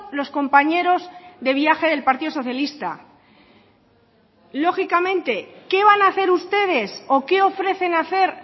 los compañeros de viaje del partido socialista lógicamente qué van a hacer ustedes o qué ofrecen hacer